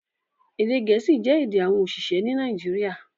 Èdè gẹ̀ẹ́sì jẹ́ èdè àwọn oṣiṣẹ ní Nàìjíríà